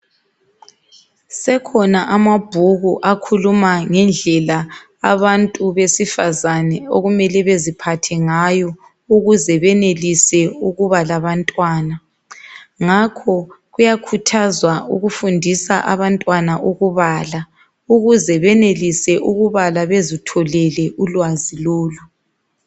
Sekhona amabhuku akhuluma ngendlela abantu besifazana okumele beziphathe ngayo ukuze benelise ukuba labantwana, ngakho kuyakhuthazwa ukuba abantwana bakwanise ukubala bazitholele ulwazi lolu.